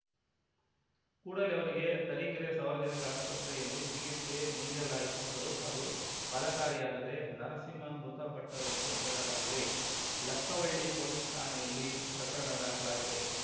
ಕೂಡಲೇ ಅವರಿಗೆ ತರೀಕೆರೆ ಸಾರ್ವಜನಿಕ ಆಸ್ಪತ್ರೆಯಲ್ಲಿ ಚಿಕಿತ್ಸೆ ನೀಡಲಾಯಿತಾದರೂ ಅದು ಫಲಕಾರಿಯಾಗದೆ ನರಸಿಂಹ ಮೃತಪಟ್ಟರೆಂದು ಹೇಳಲಾಗಿದೆ ಲಕ್ಕವಳ್ಳಿ ಪೊಲೀಸ್‌ ಠಾಣೆಯಲ್ಲಿ ಪ್ರಕರಣ ದಾಖಲಾಗಿದೆ